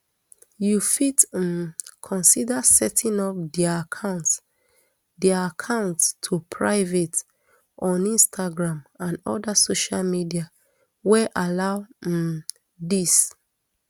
you fit um consider setting up dia accounts dia accounts to private on instagram and oda social media wey allow um dis